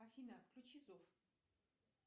афина включи зов